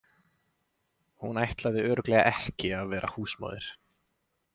Hún ætlaði örugglega ekki að vera húsmóðir.